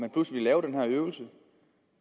pludselig at lave den her øvelse